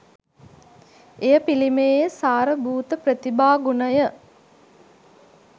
එම පිළිමයේ සාර භූත ප්‍රතිභා ගුණය